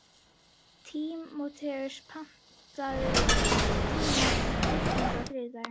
Tímóteus, pantaðu tíma í klippingu á þriðjudaginn.